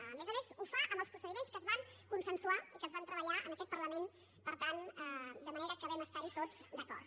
a més a més ho fa amb els procediments que es van consensuar i que es van treballar en aquest parlament per tant de manera que vam estar hi tots d’acord